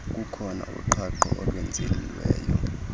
kukhona uqhaqho olwenziweyo